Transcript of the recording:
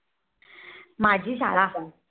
माझी शाळा पण